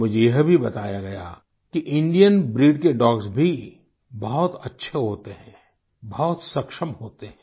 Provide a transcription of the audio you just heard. मुझे यह भी बताया गया कि इंडियन ब्रीड के डॉग्स भी बहुत अच्छे होते हैं बहुत सक्षम होते हैं